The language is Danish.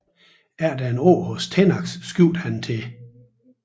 Efter et år hos Tenax skiftede han til